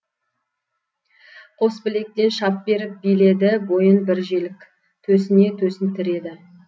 қос білектен шап беріп биледі бойын бір желік төсіне төсін тіреді